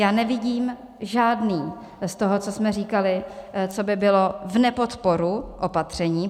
Já nevidím žádný z toho, co jsme říkali, co by bylo v nepodporu opatření.